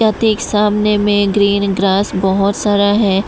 ठीक सामने में ग्रीन ग्रास बहुत सारा है।